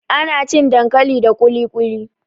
Ana cin dankali da ƙuluƙuli.